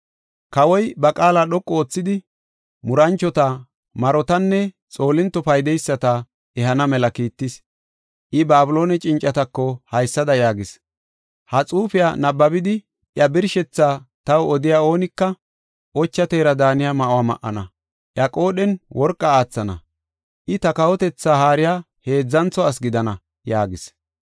Kawoy ba qaala dhoqu oothidi, muranchota, marotanne xoolinto paydeyisata ehana mela kiittis. I, Babiloone cincatako haysada yaagis: “Ha xuufiya nabbabidi, iya birshethaa taw odiya oonika, ocha teera daaniya ma7uwa ma7ana; iya qoodhen worqa aathana; I, ta kawotetha haariya heedzantho asi gidana” yaagis.